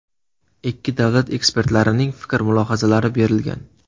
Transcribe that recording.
Ikki davlat ekspertlarining fikr-mulohazalari berilgan.